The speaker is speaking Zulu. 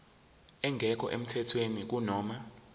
engekho emthethweni kunoma